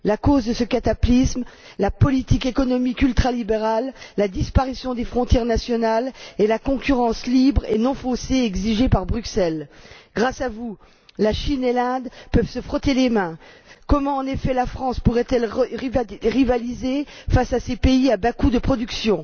La cause de ce cataclysme la politique économique ultralibérale, la disparition des frontières nationales et la concurrence libre et non faussée exigée par Bruxelles. Grâce à vous, la Chine et l'Inde peuvent se frotter les mains. Comment, en effet, la France pourrait elle rivaliser face à ces pays à bas coûts de production?